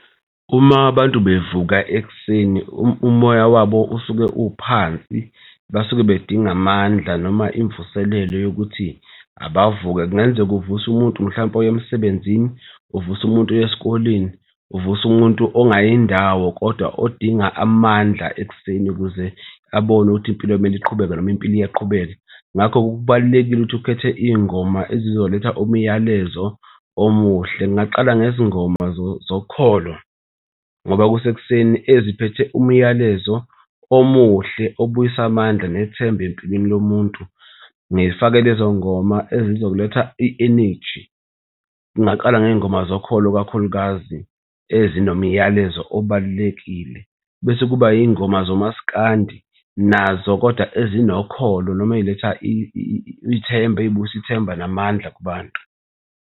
Uma abantu bevuka ekuseni, umoya wabo usuke uphansi, basuke bedinga amandla noma imvuselelo yokuthi abavuke. Kungenzeka uvuse umuntu mhlawumpe oya emsebenzini, uvuse umuntu oye esikoleni, uvuse umuntu ongayindawo kodwa odinga amandla ekuseni ukuze abone ukuthi impilo kumele iqhubeke noma impilo iyaqhubeka. Ngakho-ke kubalulekile ukuthi ukhethe iy'ngoma ezizoletha umyalezo omuhle. Ngingaqala ngezingoma zokholo ngoba kusekuseni eziphethe umyalezo omuhle obuyisa amandla nethemba empilweni yomuntu. Ngifake lezo ngoma ezizokuletha i-energy, ngingaqala ngey'ngoma zokholo kakhulukazi ezinomyalezo obalulekile, bese kuba iy'ngoma zomaskandi nazo kodwa ezinokholo noma ey'letha ithemba ey'buyisa ithemba namandla kubantu.